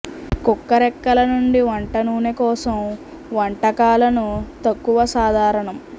కుక్క రేకల నుండి వంట నూనె కోసం వంటకాలను తక్కువ సాధారణం